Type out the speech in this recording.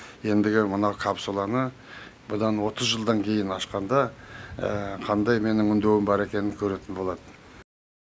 ендігі мына капсуланы бұдан отыз жылдан кейін ашқанда қандай менің үндеуім бар екенін көретін болады